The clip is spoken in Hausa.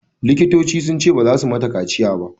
Likitocin sun ce baza su mata kaciya ba.